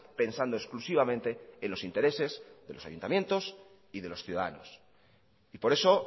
pensando exclusivamente en los intereses de los ayuntamientos y de los ciudadanos y por eso